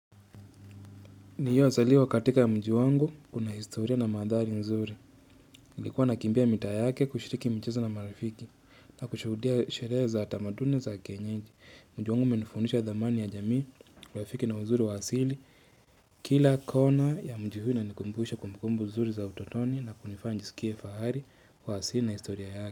Niyo asaliwa katika ya mji wangu unahistoria na madhari nzuri, ilikuwa nakimbia mita yake kushiriki mchizo na marafiki na kushudia shereza atamadune za kenyeji. Mji wangu menifunusha dhamani ya jamii, rafiki na huzuri wa asili, kila kona ya mji hui na nikumbuhisha kumukumbu huzuri za utotoni na kunifanjisikia fahari wa asili na historia yake.